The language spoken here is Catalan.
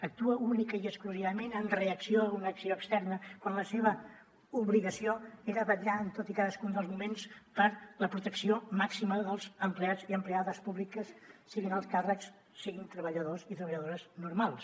actua únicament i exclusivament en reacció a una acció externa quan la seva obligació era vetllar en tot i cadascun dels moments per la protecció màxima dels empleats i empleades públiques siguin alts càrrecs siguin treballadors i treballadores normals